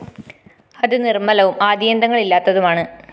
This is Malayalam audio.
അത്‌ നിര്‍മ്മലവും ആദിയന്തങ്ങള്‍ ഇല്ലാത്തതുമാണ്‌